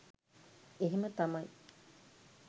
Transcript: එහෙම තමයි.